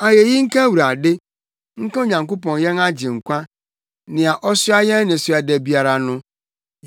Ayeyi nka Awurade, nka Onyankopɔn yɛn Agyenkwa, nea ɔsoa yɛn nnesoa da biara no.